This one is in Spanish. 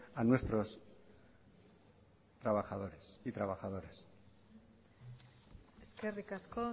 a nuestros trabajadores y trabajadoras eskerrik asko